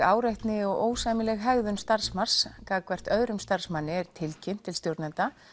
áreitni og ósæmileg hegðun starfsmanns gagnvart öðrum starfsmanni er tilkynnt til stjórnenda